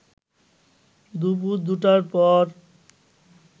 দুপুর ২টার পরে